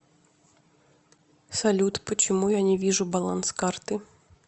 салют почему я не вижу баланс карты